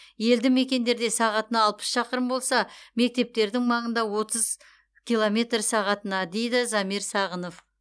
елді мекендерде сағатына алпыс шақырым болса мектептердің маңында отыз километр сағатына дейді замир сағынов